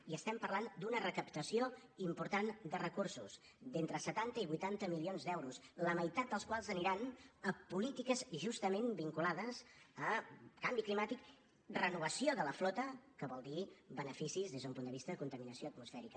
i estem parlant d’una recaptació important de recursos d’entre setanta i vuitanta milions d’euros la meitat dels quals aniran a polítiques justament vinculades a canvi climàtic renovació de la flota que vol dir beneficis des d’un punt de vista de contaminació atmosfèrica